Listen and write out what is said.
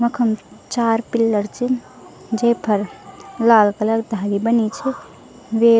वखम चार पिलर छिन जे फर लाल कलर धारी बनी छ वेक --